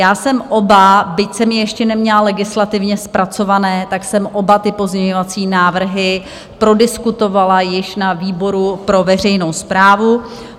Já jsem oba - byť jsem je ještě neměla legislativně zpracované - tak jsem oba ty pozměňovací návrhy prodiskutovala již na výboru pro veřejnou správu.